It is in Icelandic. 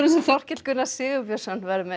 sem Þorkell Gunnar Sigurbjörnsson verður með í